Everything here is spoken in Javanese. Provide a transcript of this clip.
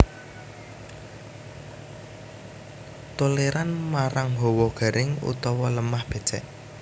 Tolèran nmarang hawa garing utawa lemah bècèk